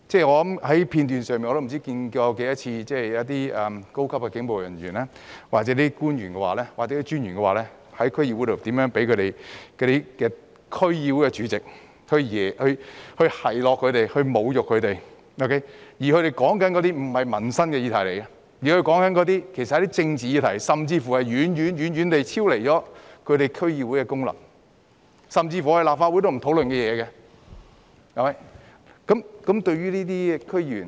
我已不知多少次從片段看到，高級警務人員、官員或專員在區議會會議上遭受區議會主席的奚落或侮辱，但所討論的卻不是民生的議題，而是政治議題，甚至是遠遠超出區議會功能，連立法會也不會討論的議題。